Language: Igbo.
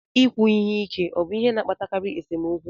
Ikwu ihe ike obụ ihe na-akpatakarị nsemokwu?